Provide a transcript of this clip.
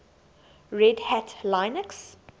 red hat linux